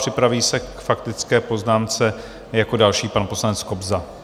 Připraví se k faktické poznámce jako další pan poslanec Kobza.